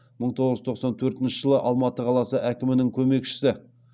мың тоғыз жүз тоқсан төртінші жылы алматы қаласы әкімінің көмекшісі